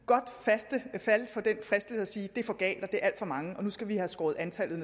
jeg falde for den fristelse at sige at det er for galt at det er alt for mange og nu skal have skåret antallet